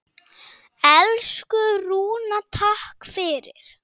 Elsku Rúna, takk fyrir allt.